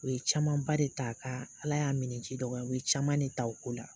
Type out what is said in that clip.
U ye camanba de ta ka ala y'a minɛ ji dɔgɔya u ye caman de ta o ko la